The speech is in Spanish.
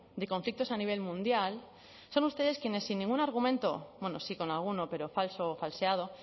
de conflictos a nivel mundial son ustedes quienes sin ningún argumento bueno sí con alguno pero falso o falseado